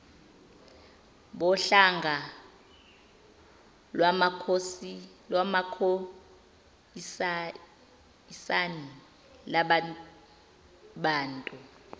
bohlanga lwamakhoisan lababantu